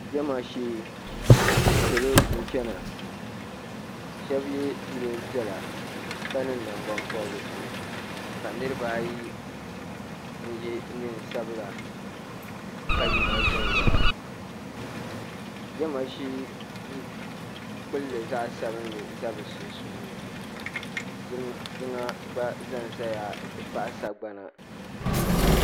Jama shee salo n chana shɛba yɛ niɛn piɛla ka niŋ nangbanpɔbirisi ka niriba n yɛ niɛn sabila ka yina viɛnyɛla jama shee duu kpili zaɣa sabinli za bi sunsuuni jiŋa gba za n zaya n ti pahi sagbana.